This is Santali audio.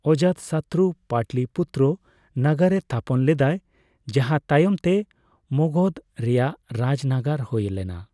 ᱚᱡᱟᱛᱥᱚᱛᱨᱩ ᱯᱟᱴᱞᱤᱯᱩᱛᱛᱚᱨᱚ ᱱᱟᱜᱟᱨᱮ ᱛᱷᱟᱯᱚᱱ ᱞᱮᱫᱟᱭ ᱾ ᱡᱟᱦᱟᱸ ᱛᱟᱭᱚᱢ ᱛᱮ ᱢᱚᱜᱚᱫᱷ ᱨᱮᱭᱟᱜ ᱨᱟᱡᱽᱱᱟᱜᱟᱨ ᱦᱳᱭ ᱞᱮᱱᱟ ᱾